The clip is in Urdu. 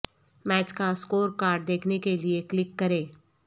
میچ کا سکور کارڈ دیکھنے کے لیے کلک کریں